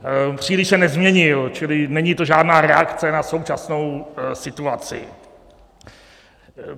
Příliš se nezměnil, čili není to žádná reakce na současnou situaci.